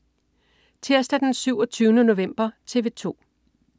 Tirsdag den 27. november - TV 2: